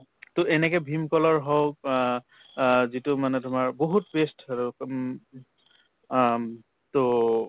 তʼ এনেকে ভিম কলৰ হৌক আহ আহ যিটো মানে তোমাৰ বহুত paste আৰু হম আহ তʼ